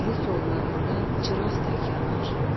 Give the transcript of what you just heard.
Bilik yollarında çıraq tək yanar.